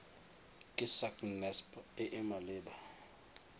ke sacnasp e e maleba